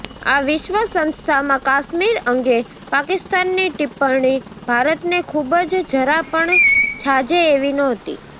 આ વિશ્વ સંસ્થામાં કાશ્મીર અંગે પાકિસ્તાનની ટિપ્પણી ભારતને ખૂબ જ જરા પણ છાજે એવી ન્હોતી